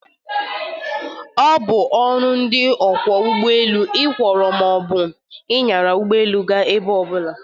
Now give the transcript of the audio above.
Ọ bụ ọrụ ndị ọkwọ ụgbọelu ịkwọrọ ma ọ bụ ịnyara ụgbọelu gaa ebe ọbụla.